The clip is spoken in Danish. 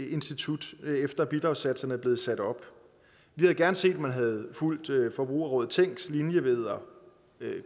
institut efter at bidragssatserne er blevet sat op vi havde gerne set at man havde fulgt forbrugerrådet tænks linje ved at